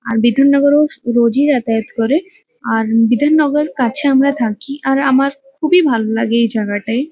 আর বিধাননগরে ও রোজই যাতায়াত করে আর বিধাননগর কাছে আমরা থাকি। আর আমার খুবই ভালো লাগে এই জাগাটাই।